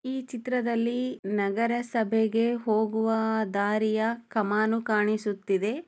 ಈ ಚಿತ್ರದಲ್ಲಿ ನಗರಸಭೆ ಗೆ ಹೋಗುವ ದಾರಿಯಾ